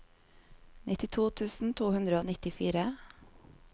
nittito tusen to hundre og nittifire